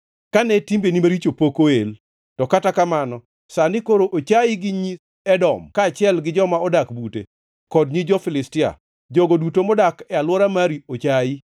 kane timbeni maricho pok oel. To kata kamano, sani koro ochayi gi nyi Edom kaachiel gi joma odak bute kod nyi jo-Filistia, jogo duto modak e alwora mari ochayi.